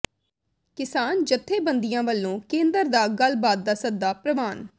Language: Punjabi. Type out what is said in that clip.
ਕਿਸਾਨ ਜਥੇਬੰਦੀਆਂ ਵਲੋਂ ਕੇਂਦਰ ਦਾ ਗੱਲਬਾਤ ਦਾ ਸੱਦਾ ਪ੍ਰਵਾਨ